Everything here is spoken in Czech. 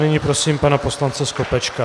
Nyní prosím pana poslance Skopečka.